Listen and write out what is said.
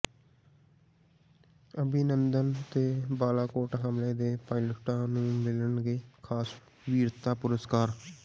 ਅਭਿਨੰਦਨ ਤੇ ਬਾਲਾਕੋਟ ਹਮਲੇ ਦੇ ਪਾਇਲਟਾਂ ਨੂੰ ਮਿਲਣਗੇ ਖ਼ਾਸ ਵੀਰਤਾ ਪੁਰਸਕਾਰ